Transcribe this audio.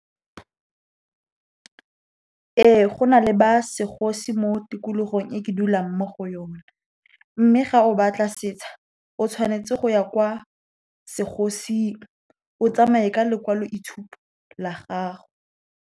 Ee, go na le ba segosi mo tikologong e ke dulang mo go yona. Mme ga o batla setsha, o tshwanetse go ya kwa segosing, o tsamae ka lekwalo la itshupo la gago.